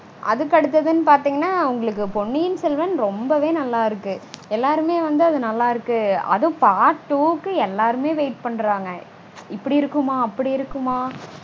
அதுக்கு அடுத்ததுனு பாத்தீங்கனா உங்களுக்கு பொன்னியின் செல்வன் ரொம்பவே நல்லா இருக்கு. எல்லாருமே வந்து அது நல்லா இருக்கு அதுவும் part two -க்கு எல்லாருமே wait பண்றாங்க. இப்படி இருக்குமா அப்படி இருக்குமா?